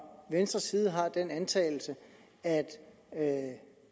venstres side har den antagelse at at